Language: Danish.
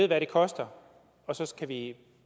hvad det koster og så kan vi